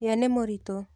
Ye nĩmũritũ.